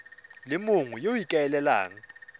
le mongwe yo o ikaelelang